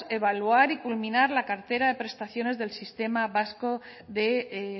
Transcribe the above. evaluar y culminar la cartera de prestaciones del sistema vasco de